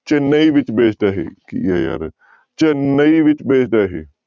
ਚੇਨਈ ਵਿੱਚ based ਆ ਇਹ ਕੀ ਆ ਯਾਰ ਚੇਨੰਈ ਵਿੱਚ based ਆ ਇਹ।